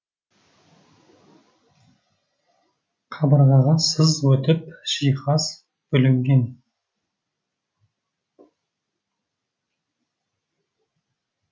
қабырғаға сыз өтіп жиһаз бүлінген